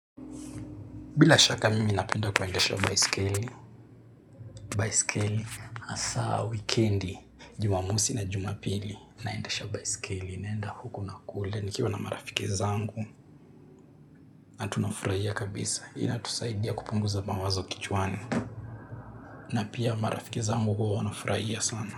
Bila shaka mimi napenda kuendesha baiskeli. Baiskeli. Hasa, wikendi, jumamosi na jumapili. Naendesha baiskeli. Naenda huku na kule. Nikiwa na marafiki zangu. Na tunafurahia kabisa. Inatusaidia kupunguza mawazo kichwani. Na pia marafiki zangu huwa wanafurahia sana.